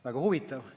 Väga huvitav.